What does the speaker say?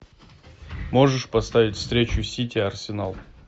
можешь поставить встречу сити арсенал